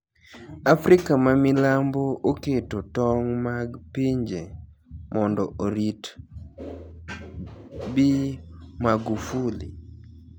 Africa ma milambo oketo tong' mag pinje mondo orit Bi Magufuli.